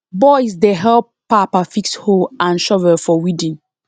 boys dey help papa fix hoe and shovel for weeding